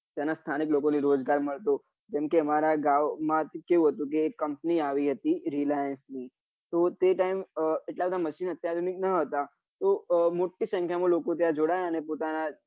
ત્યાં ના સ્થાનિક લોકો ને રોજગાર મળતો જેમ કે મારા ગામ માં કેવું હતું કે એક company આવી હતી reliance ની તો તે time એટલા બધા machine અત્યાધુનિક ના હતા તો મોટી સંખ્યા માં લોકો ત્યાં જોડાયા અને પોતાના